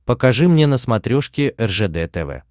покажи мне на смотрешке ржд тв